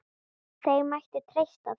Þeir mættu treysta því.